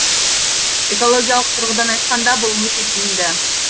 экологиялық тұрғыдан айтқанда бұл өте тиімді